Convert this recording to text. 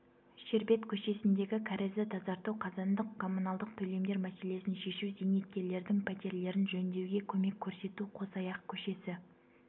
шербет көшесіндегі кәрізді тазарту қазандық коммуналдық төлемдер мәселесін шешу зейнеткерлердің пәтерлерін жөндеуге көмек көрсету қосаяқ көшесі